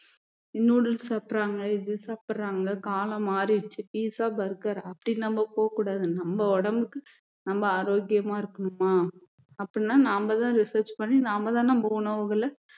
noodles சாப்பிடுறாங்க இது சாப்பிடுறாங்க காலம் மாறிடுச்சு pizza burger அப்படி நம்ம போக கூடாது நம்ம உடம்புக்கு நம்ம ஆரோக்கியமா இருக்கணுமா அப்படின்னா நாம தான் research பண்ணி நாம தான் நம்ம உணவுகளை